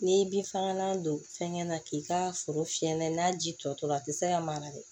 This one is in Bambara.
N'i bi fagalan don fɛnkɛ na k'i ka foro fiyɛ n'a ye n'a ji tɔtɔ a tɛ se ka mara dɛ